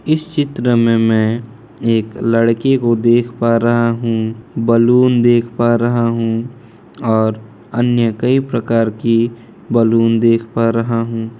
इस चित्र में मैं एक लड़के को देख पा रहा हूँ बलून देख पा रहा हूँ और अन्य कई प्रकार की बलून देख पा रहा हूँ।